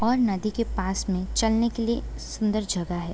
और नदी के पास में चलने के लिए सुन्दर जगह है ।